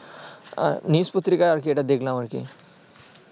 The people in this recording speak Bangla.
news পত্রিকার এইটা দেখলাম আর কি